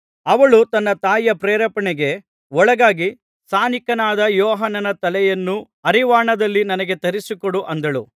ಅವಳು ತನ್ನ ತಾಯಿಯ ಪ್ರೇರೇಪಣೆಗೆ ಒಳಗಾಗಿ ಸ್ನಾನಿಕ ಯೋಹಾನನ ತಲೆಯನ್ನು ಹರಿವಾಣದಲ್ಲಿ ನನಗೆ ತರಿಸಿಕೊಡು ಅಂದಳು